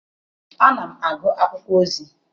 Ana m agụ akwụkwọ ozi.